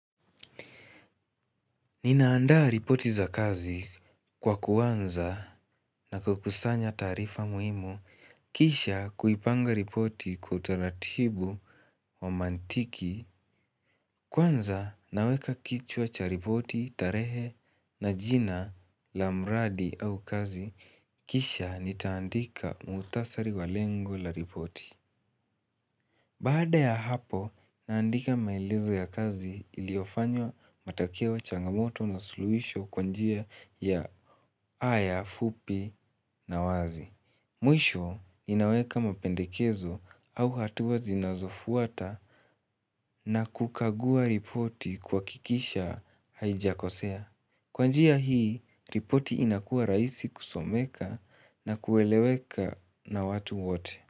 Ninaandaa ripoti za kazi kwa kuanza na kukusanya taarifa muhimu, kisha kuipanga ripoti kwa utaratibu wa mantiki, kwanza naweka kichwa cha ripoti tarehe na jina la mradi au kazi, kisha nitaandika muktasari wa lengo la ripoti. Baada ya hapo, naandika maelezo ya kazi iliofanywa matokea changamoto na suluhisho kwa njia ya aya, fupi na wazi. Mwisho ninaweka mapendekezo au hatua zinazofuata na kukagua ripoti kuhakikisha haijakosea. Kwa njia hii, ripoti inakuws rahisi kusomeka na kueleweka na watu wote.